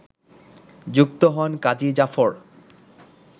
যুক্ত হন কাজী জাফর